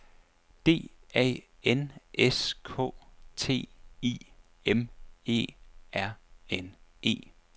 D A N S K T I M E R N E